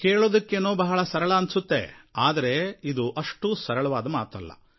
ಕೇಳೋದಕ್ಕೇನೋ ಬಹಳ ಸರಳ ಅನ್ಸುತ್ತೆ ಆದರೆ ಇದು ಅಷ್ಟು ಸರಳವಾದ ಮಾತಲ್ಲ